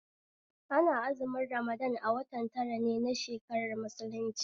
Ana azumin Ramadan a watan tara ne na shakarar musulunci